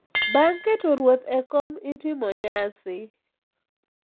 Bang’ keto ruoth e kom, itimo nyasi